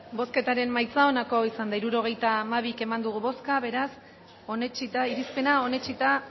bozketaren emaitza onako izan da hirurogeita hamabi eman dugu bozka hirurogeita hamabi boto aldekoa beraz irizpena onetsita